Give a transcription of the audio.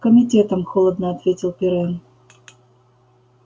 комитетом холодно ответил пиренн